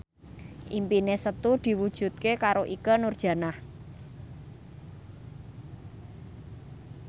impine Setu diwujudke karo Ikke Nurjanah